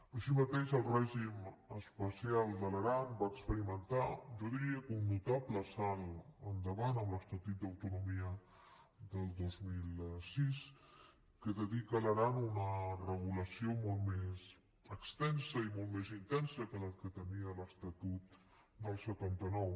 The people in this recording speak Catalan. així mateix el règim especial de l’aran va experimentar jo diria que un notable salt endavant amb l’estatut d’autonomia del dos mil sis que dedica a l’aran una regulació molt més extensa i molt més intensa que la que tenia l’estatut del setanta nou